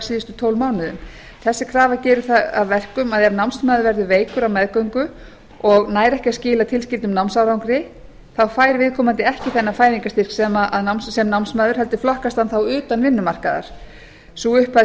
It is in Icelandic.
síðustu tólf mánuðum þessi krafa gerir það að verkum að ef námsmaður verður veikur á meðgöngu og nær ekki að skila tilteknum námsárangri þá fær viðkomandi ekki þennan fæðingarstyrk sem námsmaður heldur flokkast hann þá utan vinnumarkaðar sú upphæð